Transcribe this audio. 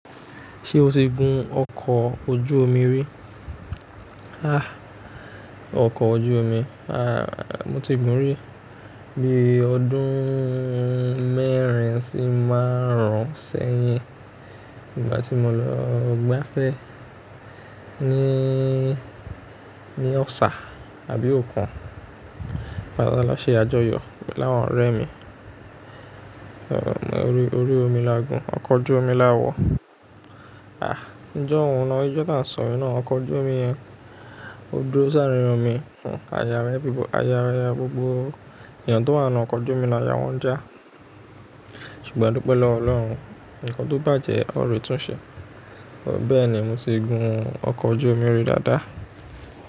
Ṣé o ti gun ọkọ̀ ojú omi rí? Ah, ọkọ̀ ojú omi, ah, mo ti gun rí. Bí ọdún mẹ́rin sí márùn-ún sẹ́yìn, nígbà tí mo lọ gbáfẹ́ ní, ní Ọ̀ṣà àbí òkun. Bàlá láṣẹ àjọyọ̀ pẹ̀lú àwọn ọ̀rẹ́ mi. Orí, orí omi la gùn, ọkọ̀ ojú omi la wọ̀. Ah, ńjọ́ ohun náà, ìjọ́ tá ń sọ yẹn náà, ọkọ̀ ojú omi yẹn, ó dúró sáré yan mi, àyà rẹ, àyà gbogbo ènìyàn tó wà nù ọkọ̀ ojú omi náà ya wọ́n já. Ṣùgbọ́n dúpẹ́ lọ Ọlọ́run, ǹkan tó bàjẹ́ ó rẹ̀ tún ṣe. Bẹ́ẹ̀ ni mo ti gun ọkọ̀ ojú omi rí dáadáa.